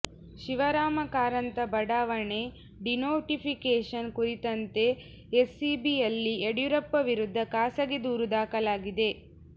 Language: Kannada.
ಶಿವರಾಮ ಕಾರಂತ ಬಡಾವಣೆ ಡಿನೋಟಿಫಿಕೇಶನ್ ಕುರಿತಂತೆ ಎಸಿಬಿಯಲ್ಲಿ ಯಡಿಯೂರಪ್ಪ ವಿರುದ್ಧ ಖಾಸಗಿ ದೂರು ದಾಖಲಾಗಿದೆ